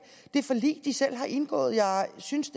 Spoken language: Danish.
det forlig venstre selv har indgået jeg synes